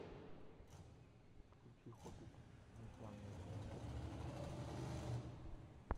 включи хоббит нежданное путешествие четыре ка